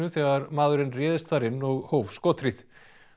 þegar maðurinn réðst þar inn og hóf skothríð